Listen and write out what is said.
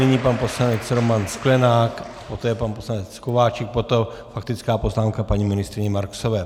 Nyní pan poslanec Roman Sklenák, poté pan poslanec Kováčik, potom faktická poznámka paní ministryně Marksové.